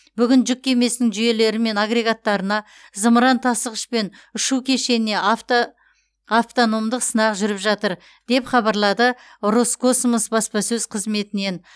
бүгін жүк кемесінің жүйелері мен агрегаттарына зымыран тасығыш пен ұшу кешеніне автономдық сынақ жүріп жатыр деп хабарлады роскосмос баспасөз қызметінен